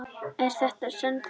Er þetta sannfærandi?